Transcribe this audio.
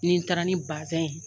Ni n taara ni bazɛn ye